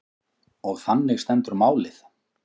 Og þannig stendur málið.